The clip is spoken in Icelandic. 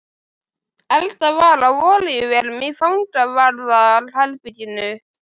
Eldað var á olíuvélum í fangavarðar- herberginu.